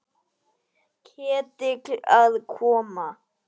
Ketill að koma?